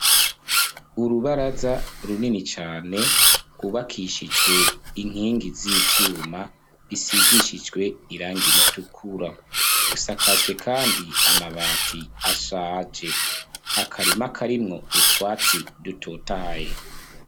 Urubaraza runini cane gubakishijwe inkingi z'ivyuma bisigishijwe iranga iritukura, rusakajwe kandi amabati ashaje , akarima karimwo utwatsi dutotaye.